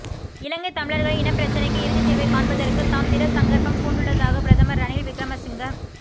இலங்கை தமிழர்களின் இனப்பிரச்சினைக்கு இறுதித்தீர்வை காண்பதற்கு தாம் திடசங்கற்பம் பூண்டுள்ளதாக பிரதமர் ரணில் விக்கிரமசிங்க